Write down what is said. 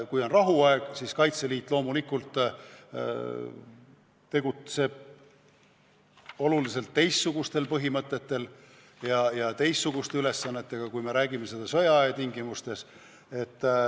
Kui on rahuaeg, siis Kaitseliit loomulikult tegutseb oluliselt teistsuguste põhimõtete alusel ja täidab teistsuguseid ülesandeid kui sõjaaja tingimustes.